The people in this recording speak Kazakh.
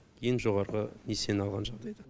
ең жоғарғы несиені алған жағдайда